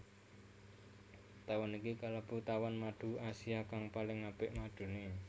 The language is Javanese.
Tawon iki kalebu tawon madu Asia kang paling apik maduné